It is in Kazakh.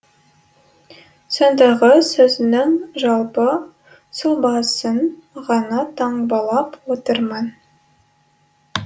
сондағы сөзінің жалпы сұлбасын ғана таңбалап отырмын